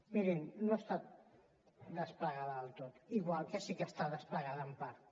mirin no està desplegada del tot igual que sí que està desplegada en part